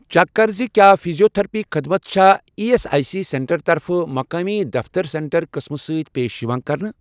Check کر زِ کیٛاہ فیٖزیوتٔھرپی خدمت چھا E S I C centre طرفہٕ مُقٲمی دفتر سینٹر قٕسمہٕ سۭتۍ پیش یِوان کرنہٕ؟